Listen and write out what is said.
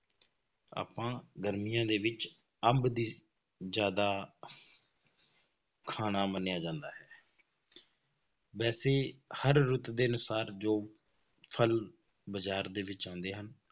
ਆਪਾਂ ਗਰਮੀਆਂ ਦੇ ਵਿੱਚ ਅੰਬ ਦੀ ਜ਼ਿਆਦਾ ਖਾਣਾ ਮੰਨਿਆ ਜਾਂਦਾ ਹੈ ਵੈਸੇ ਹਰ ਰੁੱਤ ਦੇ ਅਨੁਸਾਰ ਜੋ ਫਲ ਬਾਜ਼ਾਰ ਦੇ ਵਿੱਚ ਆਉਂਦੇ ਹਨ,